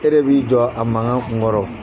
E de b'i jɔ a mankan kun kɔrɔ